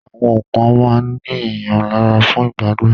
Àwọn kan máa ń ní èèyàn lára fún ìgbádùn